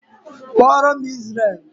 Kpọọ ro'm Izrel!